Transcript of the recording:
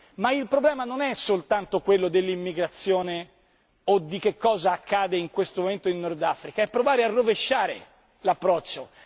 Ma il problema non è soltanto quello dell'immigrazione o di che cosa accade in questo momento in Nord Africa è provare a rovesciare l'approccio.